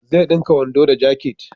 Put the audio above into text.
Zai dinka wando da jakit